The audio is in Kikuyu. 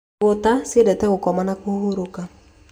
Igũta ciendete gũkoma na kũhurũka